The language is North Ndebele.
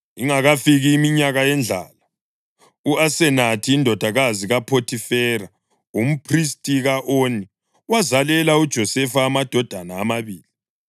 Ingakafiki iminyaka yendlala, u-Asenathi, indodakazi kaPhothifera, umphristi ka-Oni wazalela uJosefa amadodana amabili.